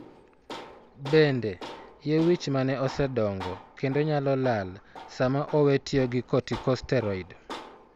Bende, yie wich ma ne osedongo kendo nyalo lal, sama oweyo tiyo gi corticosteroid.